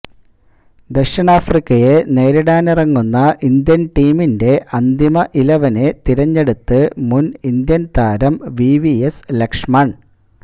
ദക്ഷിണാഫ്രിക്കയെ നേരിടാനിറങ്ങുന്ന ഇന്ത്യന് ടീമിന്റെ അന്തിമ ഇലവനെ തെരഞ്ഞെടുത്ത് മുന് ഇന്ത്യന് താരം വിവിഎസ് ലക്ഷ്മണ്